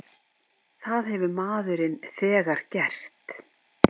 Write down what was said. Það hefur maðurinn þegar gert.